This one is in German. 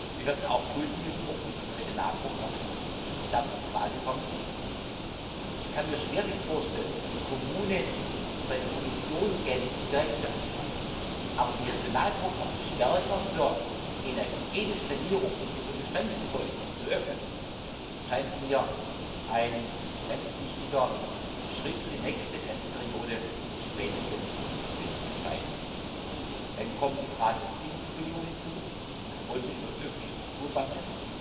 Wir werden auch prüfen müssen, ob unsere Regionalprogramme dafür in Frage kommen. Ich kann mir schwerlich vorstellen, dass eine Kommune direkt bei der Kommission Geld beantragt, aber die Regionalprogramme stärker für die energetische Sanierung von Bestandsgebäuden zu öffnen, scheint mir ein ganz wichtiger Schritt spätestens für die nächste Finanzperiode zu sein. Dann kommt die Frage der Zinsverbilligung hinzu. Wollen wir über öffentliche Strukturbanken